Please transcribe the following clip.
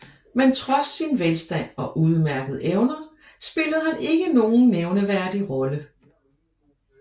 Men trods sin velstand og udmærkede evner spillede han ikke nogen nævnteværdig rolle